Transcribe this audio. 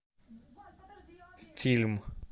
фильм